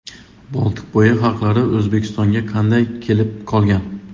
Boltiqbo‘yi xalqlari O‘zbekistonga qanday kelib qolgan?.